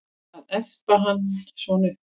Að espa hann svona upp!